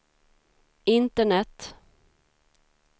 internet